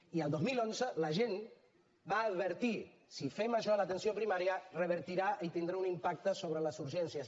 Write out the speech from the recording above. i el dos mil onze la gent va advertir si fem això a l’atenció primària revertirà i tindrà un impacte sobre les urgències